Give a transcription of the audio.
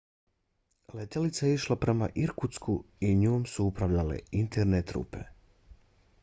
letjelica je išla prema irkutsku i njom su upravljale interne trupe